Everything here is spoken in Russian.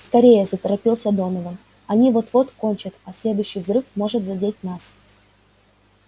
скорее заторопился донован они вот-вот кончат а следующий взрыв может задеть нас